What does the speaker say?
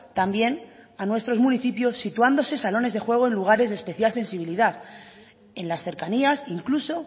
también a nuestros municipios situándose salones de juego en lugares de especial sensibilidad en las cercanías incluso